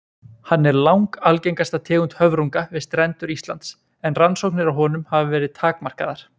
Hann er langalgengasta tegund höfrunga við strendur Íslands en rannsóknir á honum hafa verið takmarkaðar.